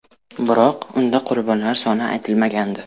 Biroq unda qurbonlar soni aytilmagandi.